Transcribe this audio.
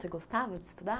Você gostava de estudar?